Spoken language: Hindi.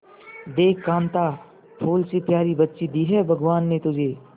देख कांता फूल से प्यारी बच्ची दी है भगवान ने तुझे